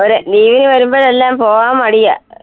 നീ വരുമ്പോഴെല്ലാം പോകാൻ മടിയാ